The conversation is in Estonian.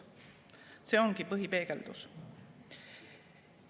See ongi põhipeegeldus.